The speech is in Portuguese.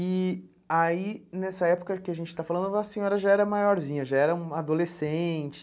E aí, nessa época que a gente está falando, a senhora já era maiorzinha, já era uma adolescente?